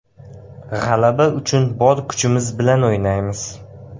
G‘alaba uchun bor kuchimiz bilan o‘ynaymiz.